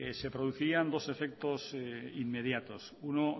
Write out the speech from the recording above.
se producirían dos efectos inmediatos uno